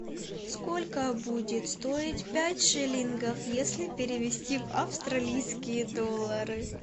сколько будет стоить пять шиллингов если перевести в австралийские доллары